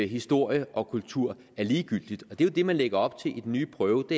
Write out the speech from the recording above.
historie og kultur er ligegyldigt og det er jo det man lægger op til i den nye prøve